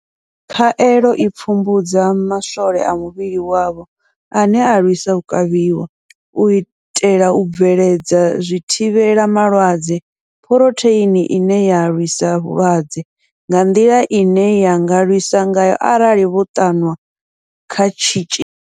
Khaelo i pfumbudza ma swole a muvhili wavho ane a lwisa u kavhiwa, u itela u bveledza zwithivhela malwadze Phurotheini ine ya lwisa vhulwadze nga nḓila ine ya nga lwisa ngayo arali vho ṱanwa kha tshitzhili.